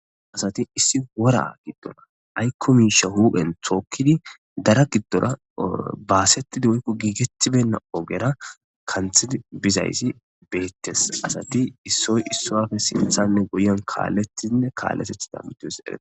asati issi wora giddona ay komisha hu7en thookkidi dara giddora baasettidi woykko giigetibenna ogera kanthidi bizaysi beettes asati issoy issoafe sinthanne goyen kaalletinne kaallatethi dammitus edee